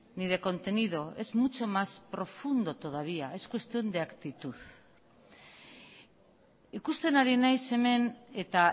ni de contenido es mucho más profundo todavía es cuestión de actitud ikusten ari naiz hemen eta